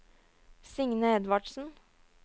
Signe Edvardsen